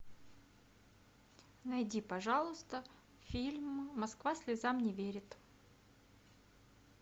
найди пожалуйста фильм москва слезам не верит